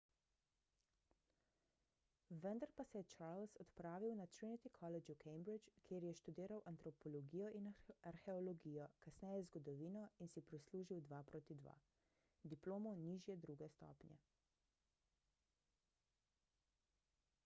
vendar pa se je charles odpravil na trinity college v cambridge kjer je študiral antropologijo in arheologijo kasneje zgodovino in si prislužil 2:2 diplomo nižje druge stopnje